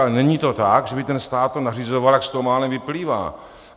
Ale není to tak, že by ten stát to nařizoval, jak z toho málem vyplývá.